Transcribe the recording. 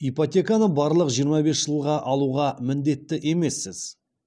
ипотеканы барлық жиырма бес жылға алуға міндетті емессіз